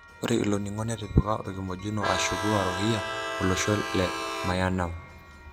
Ore ilo ningo netipika orkimojino ashuku Warohingya olosho le Myanmar.